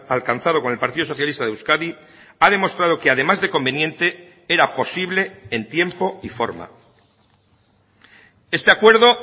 alcanzado con el partido socialista de euskadi ha demostrado que además de conveniente era posible en tiempo y forma este acuerdo